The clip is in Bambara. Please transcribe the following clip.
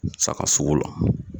Sagasugu la